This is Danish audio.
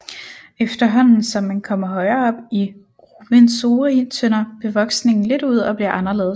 Efterhånden som man kommer højere op i Ruwenzori tynder bevoksningen lidt ud og bliver anderledes